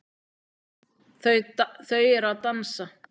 Þau eru að dansa